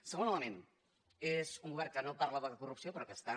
segon element és un govern que no parla de corrupció però que està